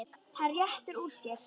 Hann réttir úr sér.